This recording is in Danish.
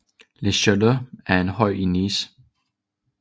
Le Château er en høj i Nice